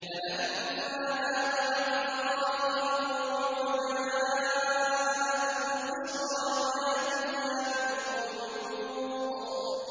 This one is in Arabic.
فَلَمَّا ذَهَبَ عَنْ إِبْرَاهِيمَ الرَّوْعُ وَجَاءَتْهُ الْبُشْرَىٰ يُجَادِلُنَا فِي قَوْمِ لُوطٍ